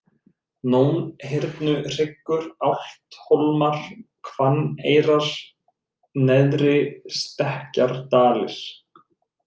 Nónhyrnuhryggur, Álfthólmar, Hvanneyrar, Neðri-Stekkjardalir